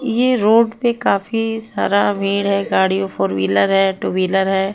ये रोड पे काफी सारा भीड़ है गाड़ियों फोर व्हीलर है टू व्हीलर है।